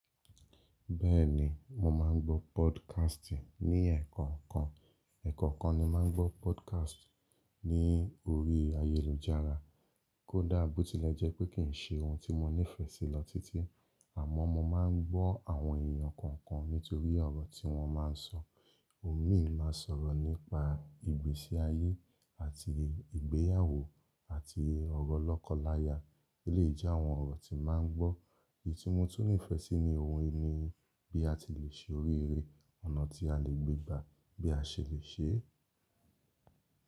Bẹ́ẹ̀ni mo máa ń gbọ́ podcast ní ẹ̀ẹ̀kookan. Ẹ̀ẹ̀kookan ni máa ń gbọ́ podcast ní orí ayélujára. Kódà bó tilẹ̀ jẹ́ pé kì ń ṣe ohun tí mo nífẹ̀ẹ́ sí lọ títí, àmọ́ mo máa ń gbọ́ àwọn èèyàn kọ̀ọ̀kan nítorí ọ̀rọ̀ tí wọ́n má n sọ. Imí máa ń sọ̀rọ̀ nípa ìgbésí ayé àti ìgbéyàwó àti ọ̀rọ̀ lọ́kọláya, eléyi je àwọn ọ̀rọ̀ tí n màá ń gbọ́. Èyí tí mo tún nífẹẹ sí ni ohun ìní bí a ti le ṣe orí eré, ọ̀nà tí a lè gbégbá, bí a ṣe lè ṣe é.